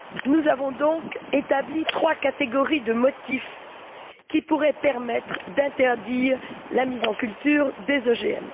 Nous avons donc établi trois catégories de motifs qui pourraient permettre d'interdire la mise en culture des OGM.